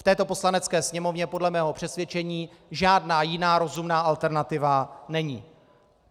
V této Poslanecké sněmovně podle mého přesvědčení žádná jiná rozumná alternativa není.